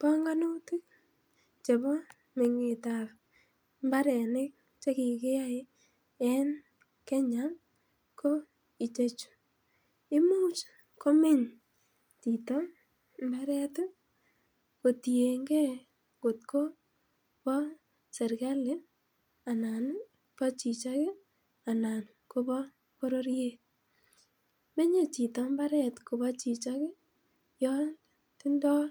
Panganutik chebo me'ngetab imbarenik che kikiyai en Kenya ko ichexhu. Imuch komeny chito Imbaret ih kotienge kot ko ba serkali anan ba chichok anan bo bororiet. Tindoo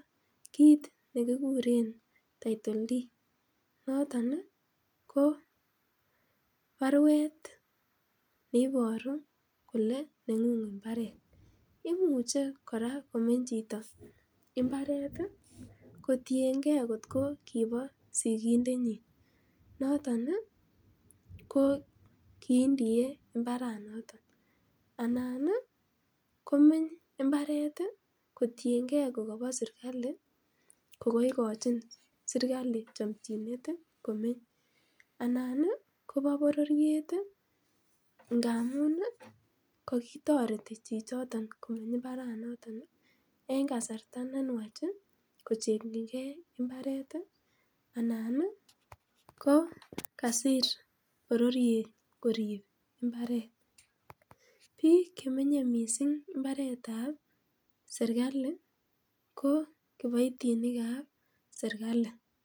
kit kit nekikuren title Deepd noton kora komeny chito mbaret kotienge kot ko kibo sikindet nyin, noton ih ki indie imbarat noton komeny imbaret kotienge kokabo serkalit ko kaigochin serkali chamchinet anan ih koba bororiet ih ngamuun ih kakoti chichiton en kasarta nenuach ih anan ih kokasir bororiet korib imbaret bik chemenye missing imbaretab serkali ko kiboitinik kab serkali